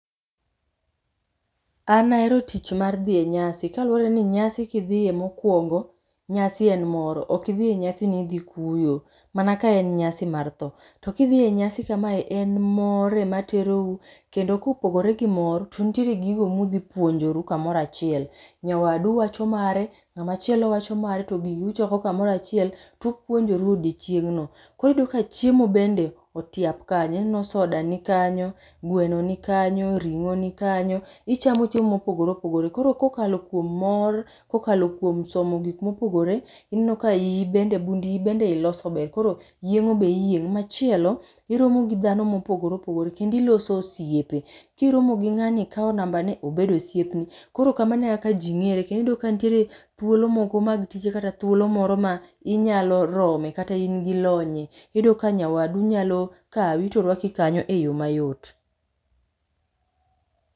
An ahero tich mar dhi e nyasi, kaluwore ni nyasi kidhiye mokwongo nyasi en mor. Okidhie nyasi nidhi kuyo, mana kaen nyasi mar tho. To kidhiye nyasi kamae en mor ema terou, kendo kopogore gi mor to nitie gigo mudhipuonjoru kamorachiel. Nyawadu wacho mare, ng'amachielo wacho mare, to gigi uchoko kamorachiel tupuonjoru odiochieng'no. Koro iyudo ka chiemo bende otiap kanyo, ineno soda nikanyo, gweno ni kanyo, ring'o ni kanyo, ichamo chiemo mopogore opogore. Koro kokalo kuom mor, kokalo kuom somo gik mopogore, ineno ka bund iyi bende iloso ber. Koro yieng'o be iyieng'. Machielo, iromo gi dhano mopogore opogore, kendiloso osiepe. Kiromo gi ng'ani ikao nambane, obedo osiepni. Koro kamano e kaka ji ng'ere, kendiyuda ka nitiere thuolo moko mag tije kata thuolo moro ma inyalo rome kata in gi lonye. Iyudo ka nyawadu nyalo kawi to rwaki kanyo e yo mayot.